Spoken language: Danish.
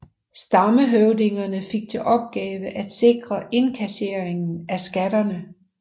Stammehøvdingene fik til opgave at sikre indkasseringen af skatterne